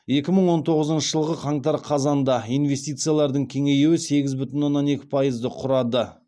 екі мың он тоғызыншы жылғы қаңтар қазанда инвестициялардың кеңеюі сегіз бүтін оннан екі пайызды құрады